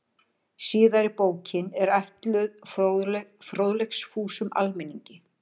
Síðari bókin er ætluð fróðleiksfúsum almenningi.